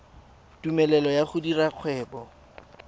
tumelelo ya go dira kgwebo